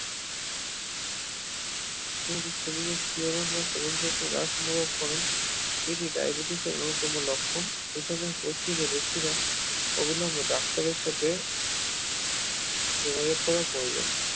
শরীরের শিহরণ বা শ্রবণশক্তি হ্রাস অনুভব করেন এটি ডাইবেটিস এর অন্যতম লক্ষণ এখানে প্রচুর বেশিরা অবিলম্বে ডাক্তারের সাথে যোগাযোগ করার প্রয়োজন